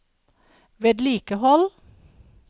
vedlikehold